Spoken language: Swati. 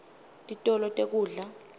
titolo tekudla